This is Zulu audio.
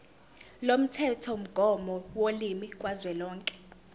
lomthethomgomo wolimi kazwelonke